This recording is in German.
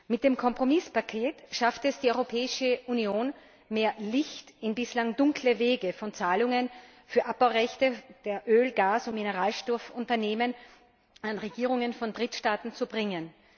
Mit dem Kompromisspaket schafft es die Europäische Union, mehr Licht in bislang dunkle Wege von Zahlungen für Abbaurechte der Öl Gas und Mineralstoffunternehmen an Regierungen von Drittstaaten zu bringen.